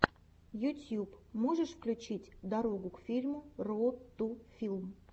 ютьюб можешь включить дорогу к фильму роуд ту филм